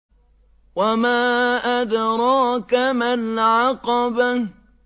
وَمَا أَدْرَاكَ مَا الْعَقَبَةُ